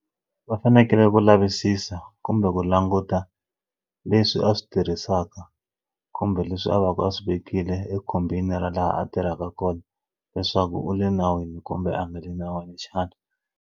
Va fanekele ku lavisisa kumbe ku languta leswi a swi tirhisaka kumbe leswi a va ka a swi vekile e khumbini ra laha a tirhaka kona leswaku u le nawini kumbe a nga le nawini xana.